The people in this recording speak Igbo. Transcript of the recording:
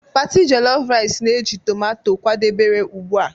party jellof rice na-eji tomato kwadebere ugbu a